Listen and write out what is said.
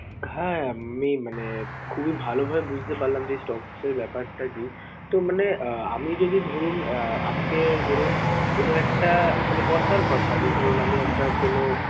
হ্যাঁ! আমি মানে খুবই ভাল ভাবে বুঝতে পারলাম যে stocks এর ব্যাপারটা risk । তো, মানে আহ আমি যদি ধরুন আহ আজকে ধরুন কোনো একটা মানে কথার কথা যে ধরুন আমি একটা কোনো